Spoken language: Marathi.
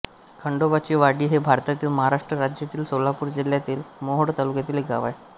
खंडोबाची वाडी हे भारतातील महाराष्ट्र राज्यातील सोलापूर जिल्ह्यातील मोहोळ तालुक्यातील एक गाव आहे